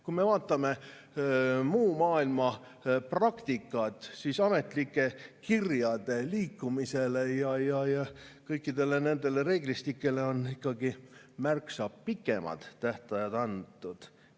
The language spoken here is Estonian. Kui me vaatame muu maailma praktikat, siis ametlike kirjade liikumisele ja kõikidele nendele reeglistikele on ikkagi märksa pikemad tähtajad antud.